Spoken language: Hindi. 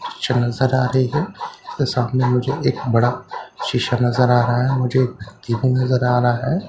चांसर आ रही है उसके सामने मुझे एक बड़ा शीशा नजर आ रहा है मुझे एक कीपिंग नजर आ रहा है ।